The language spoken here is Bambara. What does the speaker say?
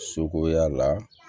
Sogoya la